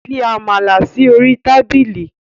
Fi amala si ori tabili